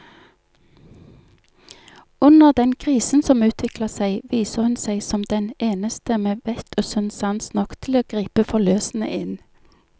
Under den krisen som utvikler seg, viser hun seg som den eneste med vett og sunn sans nok til å gripe forløsende inn.